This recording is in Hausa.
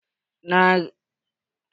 Nace kada kayi aske gashin ka!